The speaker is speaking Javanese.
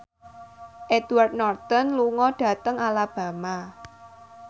Edward Norton lunga dhateng Alabama